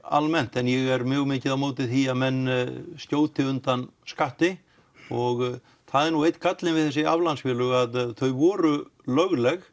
almennt en ég er mjög mikið á móti því að menn skjóti undan skatti og það er einn gallinn við þessi aflandsfélög að þau voru lögleg